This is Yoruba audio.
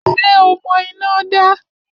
Ṣé o mọ iná dá?